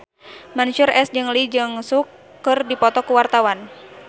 Mansyur S jeung Lee Jeong Suk keur dipoto ku wartawan